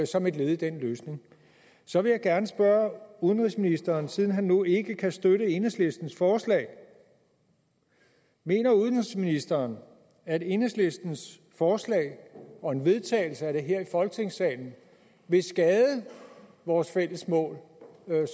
som et led i den løsning så vil jeg gerne spørge udenrigsministeren siden han nu ikke kan støtte enhedslistens forslag mener udenrigsministeren at enhedslistens forslag og en vedtagelse af det her i folketingssalen vil skade vores fælles mål